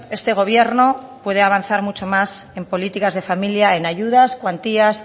este gobierno puede avanzar mucho más en políticas de familia en ayudas cuantías